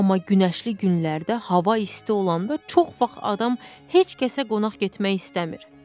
Amma günəşli günlərdə hava isti olanda çox vaxt adam heç kəsə qonaq getmək istəmir.